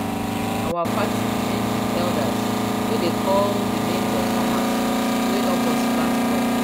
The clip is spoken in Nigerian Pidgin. our party end with elders way dey call the names of farmers way help us plant crops